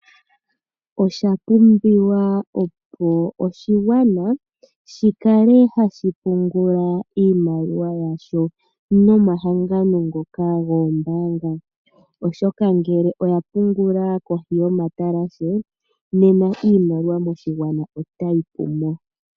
Oshapumbiwa opo oshigwana shikale hashipungula iimaliwa yasho nomahangano ngoka goombaanga oshoka ngele oya pungula kohi yomatalashe nena iimaliwa moshigwana otayi pumo.